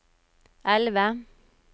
elve